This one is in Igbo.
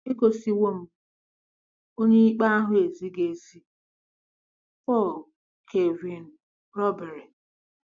“Egosiwo m Onyeikpe ahụ ezighị ezi.”—PAUL KEVIN RUBERY